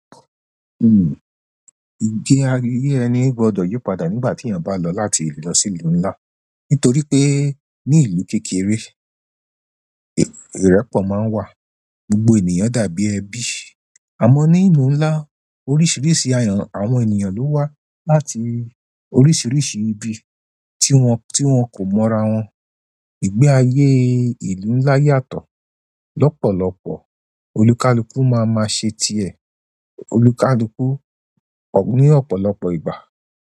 Njé ayé ẹni gbọ́dọ̀ yípadà nígbà tí èèyàn bá lọ láti ìlú lọ sí ìlú ńlá, nítorí pé ní ìlú kékeré, ìrẹ́pọ̀ máa ń wà, gbogbo ènìyàn dàbí ẹbí. Amo ni ìlú ńlá oríṣiríṣi àwọn ènìyàn lo wa láti oríṣiríṣi ibi ti won ko mo ra won. Ìgbé ayé ìlú ńlá yàtọ̀, lọ́pọ̀lọpọ̀ olùkálùkù máa ma ṣe tiẹ̀, olùkálùkù ní ọ̀pọ̀lọpọ̀ ìgbà.